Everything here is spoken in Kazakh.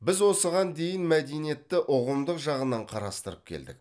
біз осыған дейін мәдениетті ұғымдық жағынан қарастырып келдік